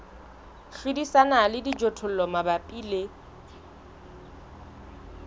hlodisana le dijothollo mabapi le